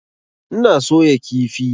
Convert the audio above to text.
Ina soya kifi.